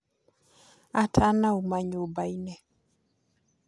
Atanauma nyũmbainĩ